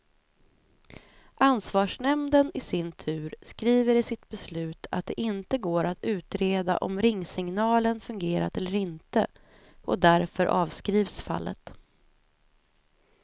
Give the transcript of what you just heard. Ansvarsnämnden i sin tur skriver i sitt beslut att det inte går att utreda om ringsignalen fungerat eller inte, och därför avskrivs fallet.